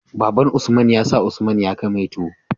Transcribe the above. Baban usman ya sa usman ya kai mai tuwo